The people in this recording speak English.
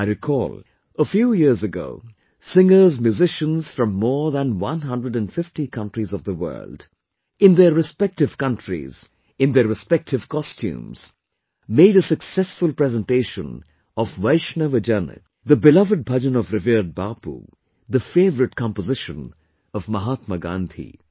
I recall, a few years ago, singersmusicians from more than one hundred and fifty countries of the world, in their respective countries, in their respective costumes, made a successful presentation of 'Vaishnav Jan', the beloved bhajan of revered Bapu, the favourite composition of Mahatma Gandhi